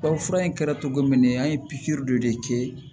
Baw fura in kɛra cogo min an ye pikiri dɔ de kɛ